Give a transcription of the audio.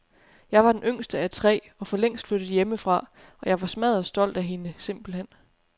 Jeg var den yngste af tre og forlængst flyttet hjemmefra, og jeg var smadderstolt af hende, simpelthen.